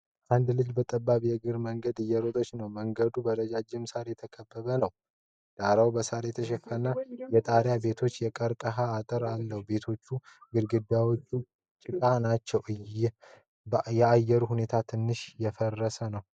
አንድ ልጅ በጠባብ የእግር መንገድ እየሮጠ ነው። መንገዱ በረጃጅም ሣር የተከበበ ነው። ዳራው በሳር የተሸፈኑ የጣሪያ ቤቶችና የቀርከሃ አጥር አለው። የቤቶቹ ግድግዳዎች ጭቃ ናቸው። የአየሩ ሁኔታ ትንሽ የደፈረሰ ነው።